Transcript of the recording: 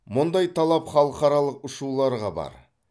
мұндай талап халықаралық ұшуларға бар